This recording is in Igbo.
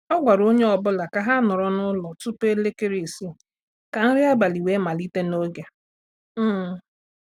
O gwara onye ọ bụla ka ha nọ n'ụlọ tupu elekere isii ka nri abalị wee malite n'oge. um